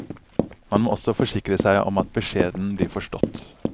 Man må også forsikre seg om at beskjeden blir forstått.